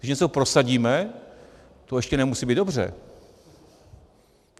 Když něco prosadíme, to ještě nemusí být dobře.